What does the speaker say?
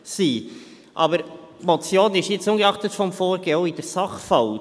Aber die Motion ist ungeachtet des Vorgehens auch in der Sache falsch.